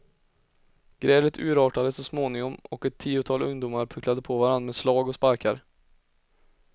Grälet urartade så småningom och ett tiotal ungdomar pucklade på varann med slag och sparkar.